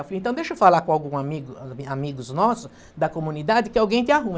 Eu falei, então deixa eu falar com algum amigo, ãh, a amigos nosso da comunidade que alguém te arruma.